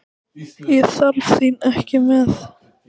Ég þarf þín ekki með.